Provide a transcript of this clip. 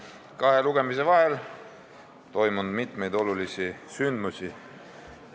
Kahe lugemise vahel on toimunud mitmeid olulisi sündmusi.